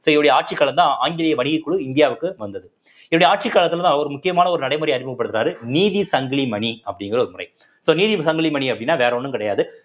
so இவருடைய ஆட்சிக் காலம்தான் ஆங்கிலேய வணிகக்குழு இந்தியாவுக்கு வந்தது இவருடைய ஆட்சி காலத்துலதான் அவர் முக்கியமான ஒரு நடைமுறையை அறிமுகப்படுத்துனாரு நீதி சங்கிலி மணி அப்படிங்கிற ஒருமுறை so நீதி சங்கிலி மணி அப்படின்னா வேற ஒண்ணும் கிடையாது